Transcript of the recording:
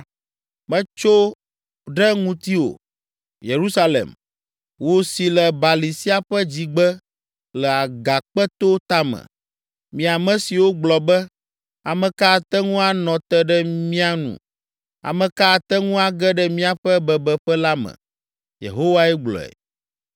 Metso ɖe ŋutiwò, Yerusalem, wò si le bali sia ƒe dzigbe le agakpeto tame, mi ame siwo gblɔ be, “Ame ka ate ŋu anɔ te ɖe mía nu? Ame ka ate ŋu age ɖe míaƒe bebeƒe la me?” Yehowae gblɔe.